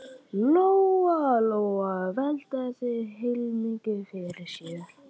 Lóa Lóa velti þessu heilmikið fyrir sér.